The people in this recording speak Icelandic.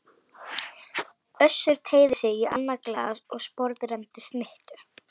Össur teygði sig í annað glas og sporðrenndi snittu.